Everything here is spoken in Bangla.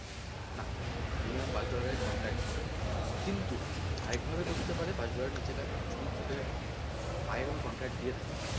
না minimum পাঁচ dollar এর contract হবে কিন্তু আরেকভাবে করতে পারে পাঁচ dollar এর নীচে কাজ যদি তোকে আগে কোনো contract দিয়ে থাকে,